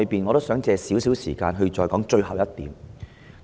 我想花少許時間談最後一點。